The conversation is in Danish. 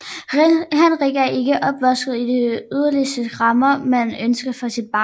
Henrik er ikke opvokset i de idylliske rammer man ønsker for sit barn